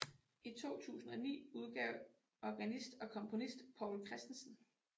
I 2009 udgav organist og komponist Povl Chr